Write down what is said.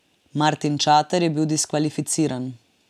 Martin Čater je bil diskvalificiran.